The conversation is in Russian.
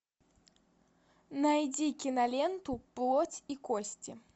найди киноленту плоть и кости